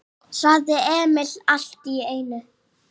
sagði Emil allt í einu.